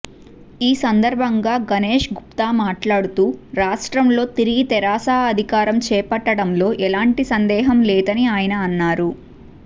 ఈ సందర్భంగా గణేశ్ గుప్తమాట్లాడుతూ రాష్ట్రంలో తిరిగి తెరాస అధికారం చేపట్టడంలో ఎలాంటి సందేహం లేదని ఆయన అన్నారు